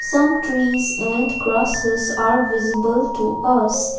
some trees and grasses are visible to us.